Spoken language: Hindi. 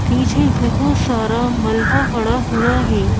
पीछे बहुत सारा मलबा पड़ा हुआ है।